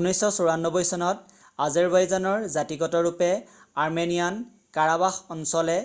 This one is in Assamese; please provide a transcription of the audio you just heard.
1994 চনত আজেৰবাইজনৰ জাতীগতৰূপে আৰ্মেনিয়ান কাৰাবাস অঞ্চলে